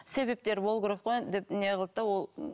себептер болу керек қой енді деп не қылды да ол